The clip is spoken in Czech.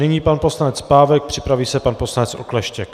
Nyní pan poslanec Pávek, připraví se pan poslanec Okleštěk.